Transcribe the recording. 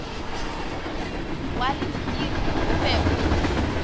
wa lentiri o be o